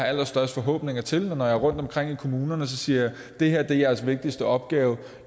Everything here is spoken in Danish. allerstørste forhåbninger til og når jeg er rundtomkring i kommunerne siger jeg det her er jeres vigtigste opgave